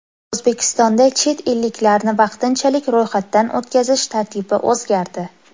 O‘zbekistonda chet elliklarni vaqtinchalik ro‘yxatdan o‘tkazish tartibi o‘zgardi.